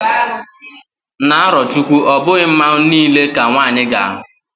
na arochukwu, obughi Mmanwu nile ka nwanyi ga-ahu